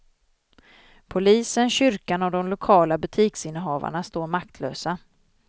Polisen, kyrkan och de lokala butiksinnehavarna står maktlösa.